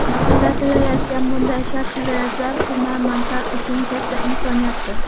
Yaratilayotgan bunday shart-sharoitlar hunarmandlar uchun katta imkoniyatdir.